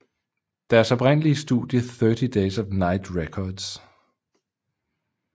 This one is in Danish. Deres oprindelige studie Thirty Days of Night Records